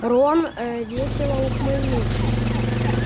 рон ээ весело ухмыльнувшись